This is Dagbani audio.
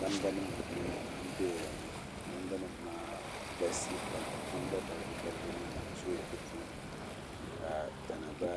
Namda nim n kuli doya ŋɔ namda nim maa galisiya pam namda balibu balibu zooya di puuni ka tana gba